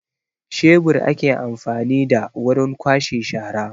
Shebur ake amfani da wurin kwashe shara